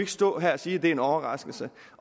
stå her og sige at det er en overraskelse